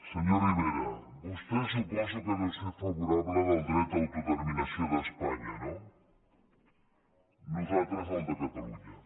senyor rivera vostè suposo que deu ser favorable al dret d’autodeterminació d’espanya no nosaltres al de catalunya